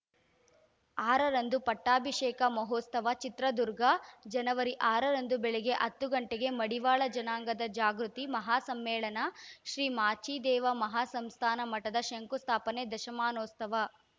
ಆರರಂದು ಪಟ್ಟಾಭಿಷೇಕ ಮಹೋತ್ಸವ ಚಿತ್ರದುರ್ಗ ಜನವರಿ ಆರರಂದು ಬೆಳಗ್ಗೆ ಹತ್ತು ಗಂಟೆಗೆ ಮಡಿವಾಳ ಜನಾಂಗದ ಜಾಗೃತಿ ಮಹಾ ಸಮ್ಮೇಳನ ಶ್ರೀ ಮಾಚಿದೇವ ಮಹಾಸಂಸ್ಥಾನ ಮಠದ ಶಂಕುಸ್ಥಾಪನೆ ದಶಮಾನೋತ್ಸವ